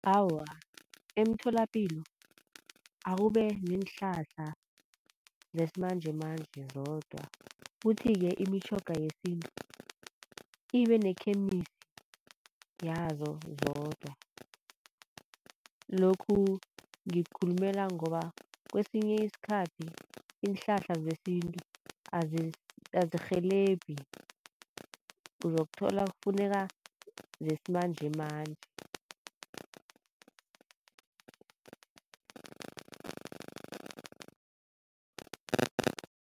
Awa, emtholapilo akube neenhlahla zesimanjemanje zodwa. Kuthi-ke imitjhoga yesintu ibe ne-chemist yazo zodwa. Lokhu ngikhulumela ngoba kesinye iskhathi iihlahla zesintu azirhelebhi uzokuthola kufuneka zesimanjemanje.